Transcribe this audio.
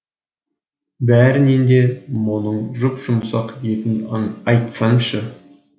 бәрінен де мұның жұп жұмсақ етін айтсаңшы